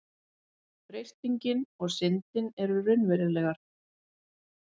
Freistingin og syndin eru raunverulegar.